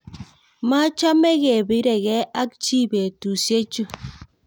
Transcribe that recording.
Machome kepirekee ak chii betusiechu